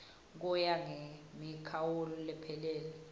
kuya ngemikhawulo lephelele